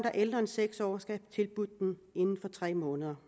er ældre end seks år skal have tilbudt den inden for tre måneder